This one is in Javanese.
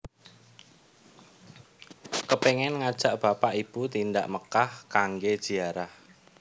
Kepengen ngajak bapak ibu tindak Mekkah kangge ziarah